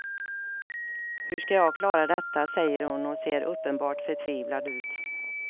Hur ska jag klara detta, säger hon och ser uppenbart förtvivlad ut.